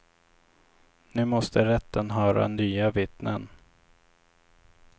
Nu måste rätten höra nya vittnen.